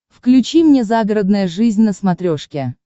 включи мне загородная жизнь на смотрешке